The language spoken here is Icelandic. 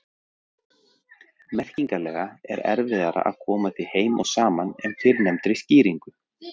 Merkingarlega er erfiðara að koma því heim og saman en fyrrnefndri skýringu.